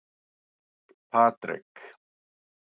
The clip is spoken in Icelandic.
Patrek